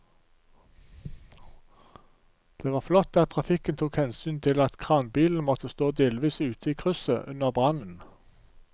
Det var flott at trafikken tok hensyn til at kranbilen måtte stå delvis ute i krysset under brannen.